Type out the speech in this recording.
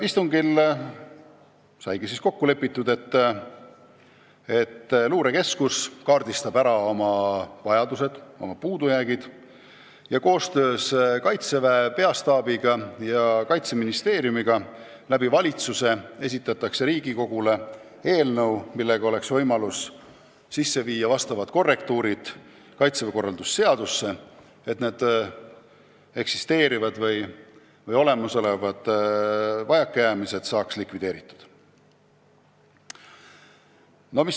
Istungil saigi kokku lepitud, et luurekeskus kaardistab ära oma vajadused ja oma puudujäägid ning koostöös Kaitseväe Peastaabi ja Kaitseministeeriumiga esitatakse valitsuse kaudu Riigikogule eelnõu, mille eesmärk on teha korrektuurid Kaitseväe korralduse seadusesse, et olemasolevad vajakajäämised saaks likvideeritud.